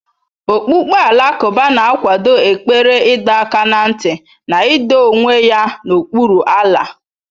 Okpukpe Alakụba na-akwado ekpere ịdọ aka ná ntị na ido onwe ya n'okpuru Allah.